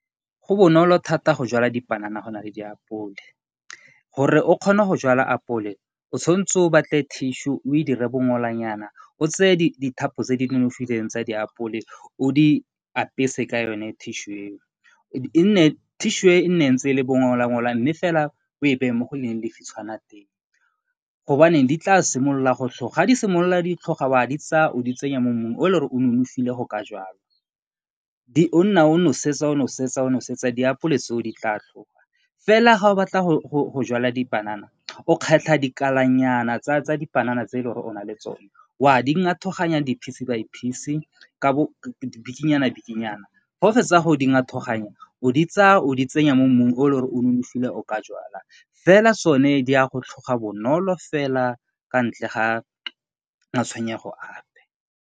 Go bonolo thata go jala dipanana go na le diapole, gore o kgone go jala apole o tshwanetse o tseye tissue o e dire bongolanyana o tseye dithapo tse di nonofileng tsa diapole o di apese ka yone tissue eo. Tissue e e nne ntse e le bongola mme fela o e beye mo go leng lefitshwana teng di tla simolola go tloga, ga di simolola di tlhoga o a di tsaya o di tsenya mo mmung o e leng gore o nonofile go ka jalwa. O nna o nosetsa, o nosetsa, o nosetsa diapole tseo di tla tloga, fela ga o batla go jala dipanana o kgetlha dikalanyana tsa dipanana tse e e leng gore o na le tsone o a di ngathoganya piece by piece ka bo bikinyana-bikinyana ga o fetsa go di ngathoganya o di tsaya o di tsenya mo mmung o e leng gore o nonofile gore o ka jala, fela tsone di a go tloga bonolo fela kwa ntle ga matshwenyego ape.